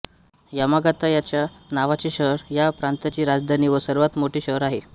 Yamagata ह्याच नावाचे शहर ह्या प्रांताची राजधानी व सर्वात मोठे शहर आहे